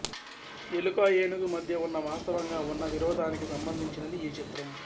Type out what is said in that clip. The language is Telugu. ఎలుక ఏనుగు మధ్య ఉన్న వాస్తవంగా ఉన్న విరోధానికి సంబంధించినది ఈ చిత్రం